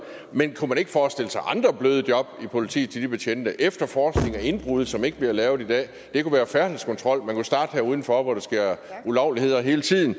men kunne man ikke forestille sig andre bløde job i politiet til de betjente efterforskningen af indbrud som ikke bliver lavet i dag det kunne være færdselskontrol man kunne starte her udenfor hvor der sker ulovligheder hele tiden